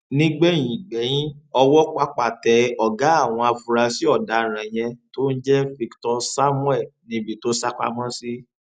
nígbẹyìn gbẹyín ọwọ pápá tẹ ọgá àwọn afurasí ọdaràn yẹn tó ń jẹ victor samuel níbi tó sá pamọ sí